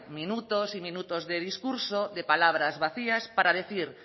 minutos y minutos de discurso de palabras vacías para decir